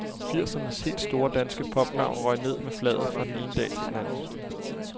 Firsernes helt store danske popnavn røg ned med flaget fra den ene dag til den anden.